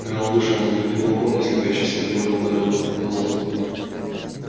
гаал вышел на открытый балкон и слепящий свет больно ударил его по глазам